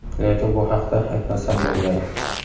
lekin bu haqda aytmasam bo‘lmaydi.